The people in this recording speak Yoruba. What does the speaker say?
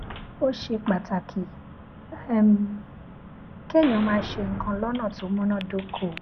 ó ṣe pàtàkì um kéèyàn máa ṣe nǹkan lónà tó múnádóko